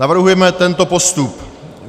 Navrhujeme tento postup: